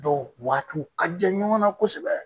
Dɔw waatiw ka jan ɲɔgɔn na kosɛbɛ